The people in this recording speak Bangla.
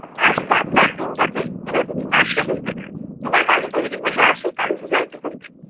আজ বাদলার দিনটাতে? বিনোদিনী- না সে হইবে না। তোমার গাড়ি তৈরি হইয়া আছে college এ যাইতে হইবে।